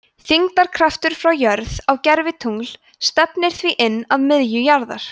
þyngdarkraftur frá jörð á gervitungl stefnir því inn að miðju jarðar